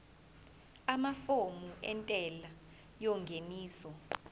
amafomu entela yengeniso